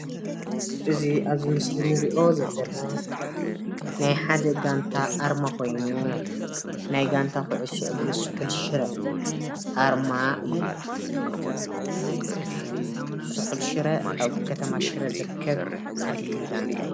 እዚ አብ አብዚ ምስሊ እንሪኦ ዘለና ናይ ሓደ ጋንታ አርማ ኮይኑ ናይ ጋንታ ኩዕሶ እግሪ ስሑለ ሽረ አርማ እዩ። ስሑል ሽረ አብ ከተማ ሽረ ዝርከብ ዓብዪ ጋንታ እዩ፡፡